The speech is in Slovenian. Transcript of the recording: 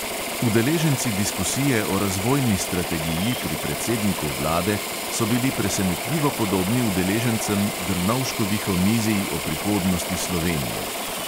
Udeleženci diskusije o razvojni strategiji pri predsedniku vlade so bili presenetljivo podobni udeležencem drnovškovih omizij o prihodnosti slovenije.